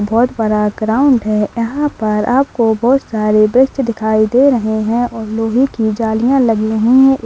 बहुत बड़ा ग्राउंड है यहां पर आपको बहुत सारे वृक्ष दिखाई दे रहे हैं और लोहे की जालियां लगी हुई है।